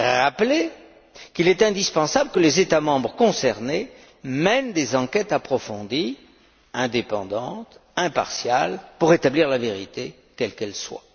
a aussi rappelé qu'il est indispensable que les États membres concernés mènent des enquêtes approfondies, indépendantes, impartiales, pour établir la vérité, quelle qu'elle